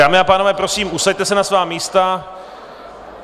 Dámy a pánové, prosím, usaďte se na svá místa.